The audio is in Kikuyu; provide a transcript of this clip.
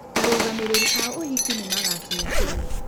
Arũgamĩrĩri a ũhiki nĩ magaakinya tene.